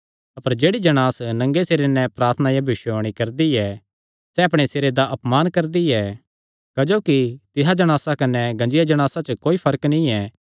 अपर जेह्ड़ी जणांस नंगे सिरे प्रार्थना या भविष्यवाणी करदी ऐ सैह़ अपणे सिरे दा अपमान करदी ऐ क्जोकि तिसा जणासा कने गंजिया जणासा च कोई फर्क नीं ऐ